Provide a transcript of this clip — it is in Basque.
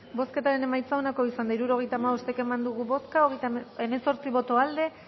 bozketaren emaitza onako izan da hirurogeita hamabost eman dugu bozka hemezortzi boto aldekoa